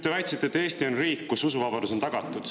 Te väitsite, et Eesti on riik, kus usuvabadus on tagatud.